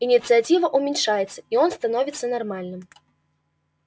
инициатива уменьшается и он становится нормальным